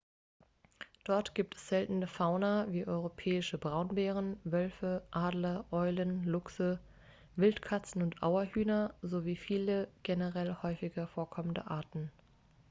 dort gibt es seltene fauna wie europäische braunbären wölfe adler eulen luchse wildkatzen und auerhühner sowie viele generell häufiger vorkommende arten